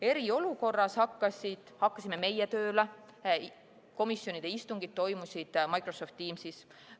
Eriolukorras hakkasime meie tööle nii, et komisjonide istungid toimusid Microsoft Teamsis.